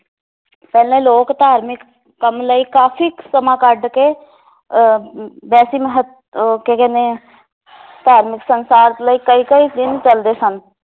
ਪਹਿਲਾਂ ਲੋਕ ਧਾਰਮਿਕ ਕੰਮ ਲਈ ਕਾਫੀ ਸਮਾਂ ਕੱਢ ਕੇ ਅਹ ਅਮ ਵੈਸੀ ਮਹਤ ਅਹ ਕੀ ਕਹਿੰਦੇ ਆ ਧਾਰਮਿਕ ਲਈ ਕਈ ਕਈ ਦਿਨ ਚਲਦੇ ਸਨ